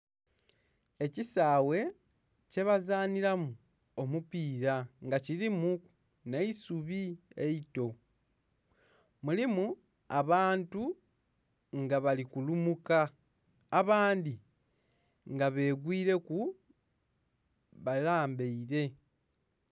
Ekisawe kyebazaniramu omupira nga kirimuku eisubi eito. Mulimu abantu nga bali kulumuka abandhi nga begwireku balambaire.